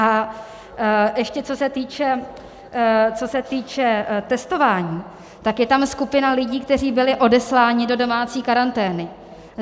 A ještě co se týče testování, tak je tam skupina lidí, kteří byli odesláni do domácí karantény.